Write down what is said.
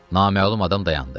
Naməlum adam dayandı.